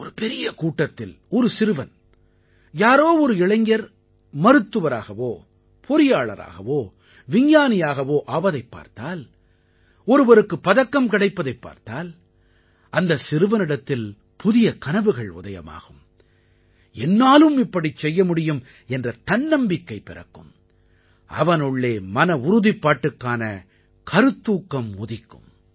ஒரு பெரிய கூட்டத்தில் ஒரு சிறுவன் யாரோ ஒரு இளைஞர் மருத்துவராகவோ பொறியாளராகவோ விஞ்ஞானியாகவோ ஆவதைப் பார்த்தால் ஒருவருக்கு பதக்கம் கிடைப்பதைப் பார்த்தால் அந்தச் சிறுவனிடத்தில் புதிய கனவுகள் உதயமாகும் என்னாலும் இப்படிச் செய்ய முடியும் என்ற தன்னம்பிக்கை பிறக்கும் அவனுள்ளே மனவுறுதிப்பாட்டுக்கான கருத்தூக்கம் உதிக்கும்